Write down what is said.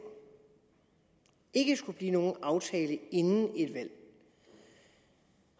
ikke skulle blive nogen aftale inden et valg